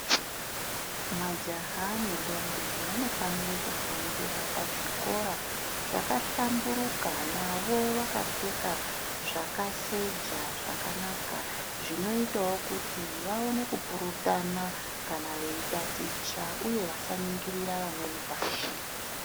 Majaha nendombi vanofanire kufundira pazvikora zvakahlamburuka navo vakapfeka zvakaseja zvakanaka. Zvinoitavo kuti vaone kupurutana kana veitaticha, uye vasaningirira vamweni pashi.